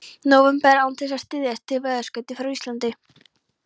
nóvember án þess að styðjast við veðurskeyti frá Íslandi.